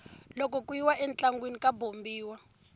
loko ku yiwa entlangwini ka bombiwa